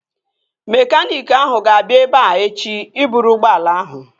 Mekaniiki ahụ ga-abịa ebea echi ịbụrụ ụgbọala ahụ